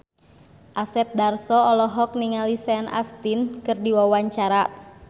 Asep Darso olohok ningali Sean Astin keur diwawancara